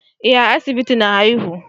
Eh a asibiti na haihu